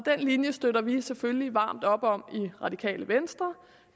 linje støtter vi selvfølgelig varmt op om i radikale venstre